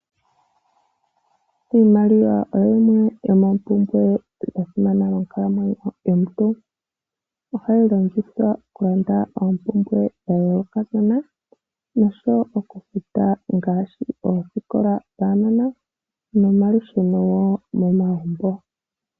Iimaliwa oyo yimwe yomoompumbwe dha simana monkalamwenyo yomuntu. Ohayi longithwa okulanda oompumbwe dha yoolokathana nosho wo okufuta ngaashi oosikola dhaanona nomalusheno wo momagumbo.